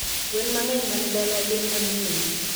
Gwne mangeny mani dala gin mag ringo